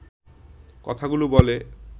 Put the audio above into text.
কথাগুলো বলে